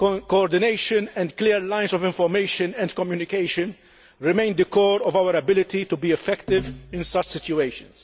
Coordination and clear lines of information and communication remain the core of our ability to be effective in such situations.